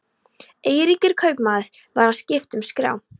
Eiríkur kaupmaður var að skipta um skrá.